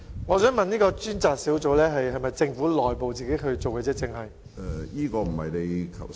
我想問有關的專責小組是否只是政府內部的一個小組？